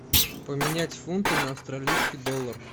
поменять фунты на австралийский доллар